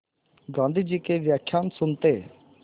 गाँधी जी के व्याख्यान सुनते